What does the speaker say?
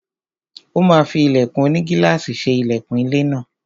Ó máa fí ilẹ̀kùn onigílàsì ṣe ilẹkùn ilé náà.